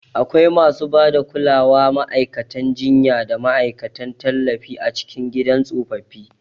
Akwai masu ba da kulawa, ma'aikatan jinya, da ma'aikatan tallafi a cikin gidan tsofaffi.